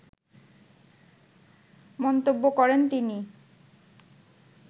মন্তব্য করেন তিনি